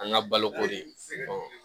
An ka baloko de